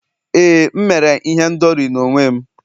éè, m mere ihendori n'onwe m